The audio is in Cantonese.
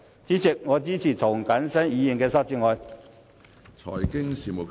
主席，我支持涂謹申議員的修正案。